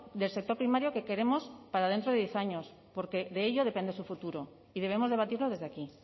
del sector primario que queremos para dentro de diez años porque de ello depende su futuro y debemos debatirlo desde aquí